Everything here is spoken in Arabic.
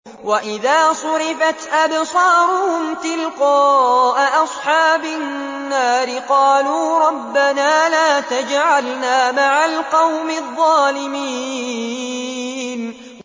۞ وَإِذَا صُرِفَتْ أَبْصَارُهُمْ تِلْقَاءَ أَصْحَابِ النَّارِ قَالُوا رَبَّنَا لَا تَجْعَلْنَا مَعَ الْقَوْمِ الظَّالِمِينَ